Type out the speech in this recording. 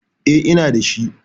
Eh, ina dashi.